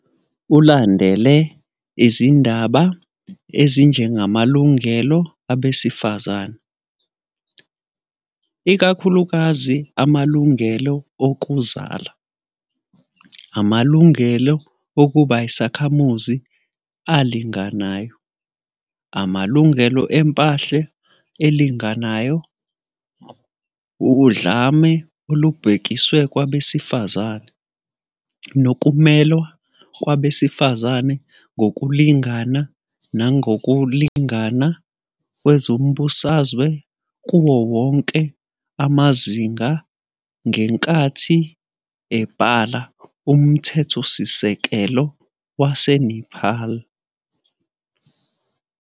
Ulandele izindaba ezinjengamalungelo abesifazane, ikakhulukazi amalungelo okuzala, amalungelo okuba yisakhamuzi alinganayo, amalungelo empahla alinganayo, udlame olubhekiswe kwabesifazane, nokumelwa kwabesifazane ngokulingana nangokulingana kwezombusazwe kuwo wonke amazinga ngenkathi ebhala umthethosisekelo waseNepal.